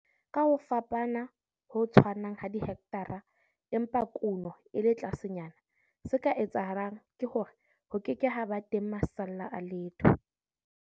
Ka ho fapana ho tshwanang ha dihekthara empa kuno e le tlasenyana, se ka etsahalang ke hore ho ke ke ha ba teng masalla a letho.